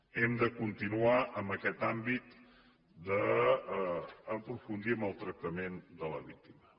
hem de continuar en aquest àmbit d’aprofundir en el tractament de la víctima